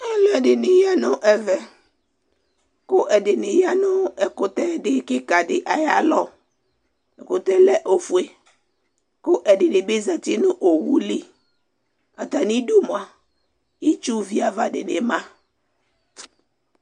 Aluɛdini ya nu ɛvɛ ku aluɛdini ya nu ɛkutɛ kika di ayalɔ ɛkutɛ lɛ ofue ku ɛdinibi zati nu owuli atamidu mua itsu viava dima